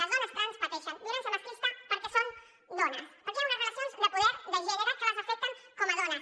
les dones trans pateixen violència masclista perquè són dones perquè hi han unes relacions de poder de gènere que les afecten com a dones